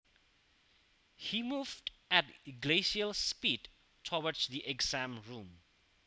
He moved at glacial speed towards the exam room